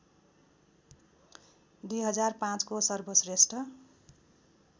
२००५ को सर्वश्रेष्ठ